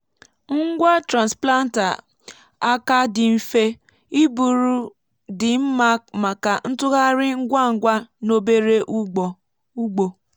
ngwa transplanter aka dị mfe iburu dị mma maka ntụgharị ngwa ngwa n’obere ugbo.